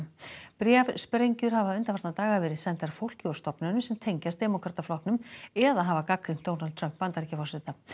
bréfsprengjur hafa undanfarna daga verið sendar fólki og stofnunum sem tengjast eða hafa gagnrýnt Donald Trump Bandaríkjaforseta